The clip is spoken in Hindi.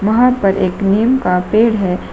वहां पर एक नीम का पेड़ है।